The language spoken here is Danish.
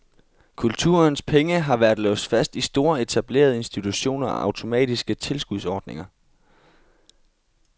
Kulturens penge har været låst fast i store etablerede institutioner og automatiske tilskudsordninger.